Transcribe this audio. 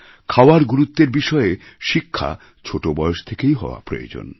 খাওয়ার গুরুত্বের বিষয়ে শিক্ষা ছোট বয়স থেকেই হওয়া প্রয়োজন